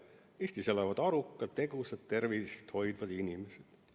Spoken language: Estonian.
"Eestis elavad arukad, tegusad ja tervist hoidvad inimesed.